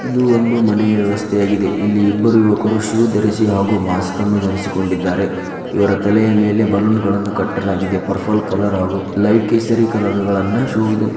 ಇದು ಒಂದು ಮನೆಯ ಅವಸ್ಥೆಯಾಗಿದೆ ಇಲ್ಲಿ ಇಬ್ಬರು ಶು ಧರಿಸಿ ಹಾಗೂ ಮಾಸ್ಕ ನ್ನು ಧರಿಸಿಕೊಂಡು ಇದ್ದಾರೆ ಇವರ ತಲೆ ಮೇಲೆ ಬಲ್ಲೋನ್ ಗಂಡನ್ನೂ ಕಟ್ಟಲಾಗಿದೆ ಪರ್ಪಲ್ ಕಲರ್ ಹಾಗೂ ಲೈಟ್ ಕೇಸರಿ ಕಲರ್ ಗದನ್ನ ಶೂ .--